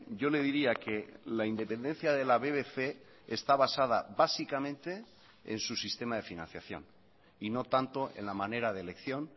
yo le diría que la independencia de la bbc está basada básicamente en su sistema de financiación y no tanto en la manera de elección